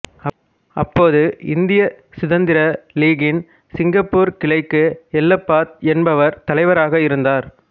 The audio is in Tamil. அப்போது இந்திய சுதந்திர லீகின் சிங்கப்பூர் கிளைக்கு எல்லப்பா என்பவர் தலைவராக இருந்தார்